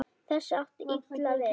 Þetta átti illa við